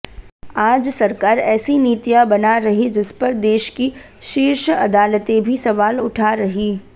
आज सरकार ऐसी नीतियां बना रही जिसपर देश की शीर्ष अदालतें भी सवाल उठा रही